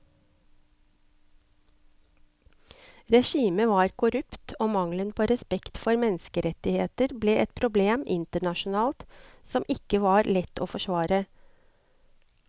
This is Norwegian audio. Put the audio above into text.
Regimet var korrupt og mangelen på respekt for menneskerettigheter ble et problem internasjonalt som ikke var lett å forsvare.